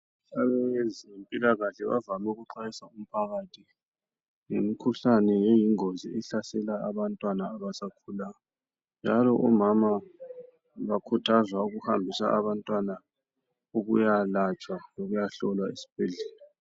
Abezempilakahle bavame ukuxwayisa umphakathi ngemikhuhlane eyingozi ehlasela abantwana abasakhulayo, njalo omama bakhuthazwa ukuhambisa abantwana ukuyalatshwa lokuya hlolwa esibhedlela.